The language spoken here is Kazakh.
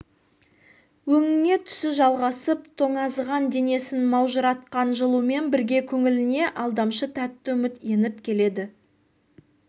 өңіне түсі жалғасып тоңазыған денесін маужыратқан жылумен бірге көңіліне алдамшы тәтті үміт еніп келеді